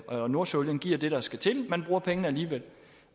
og nordsøolien giver det der skal til man bruger pengene alligevel